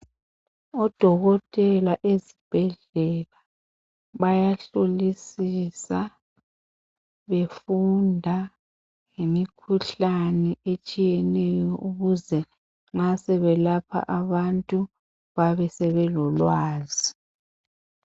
Odokotela ezibhedlela bayahlolisisa befunda ngemikhuhlane etshiyeneyo ukuze nxa sebelapha abantu babe sebelolwazi.